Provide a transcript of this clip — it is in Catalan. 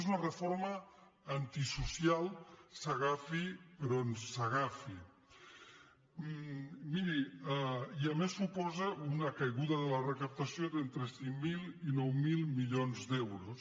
és una reforma antisocial s’agafi per on s’agafi i a més suposa una caiguda de la recaptació d’entre cinc mil i nou mil milions d’euros